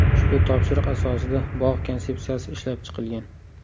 Ushbu topshiriq asosida bog‘ konsepsiyasi ishlab chiqilgan.